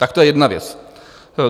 Tak to je jedna věc.